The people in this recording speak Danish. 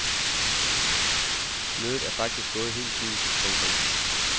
Mødet er faktisk gået helt fint. punktum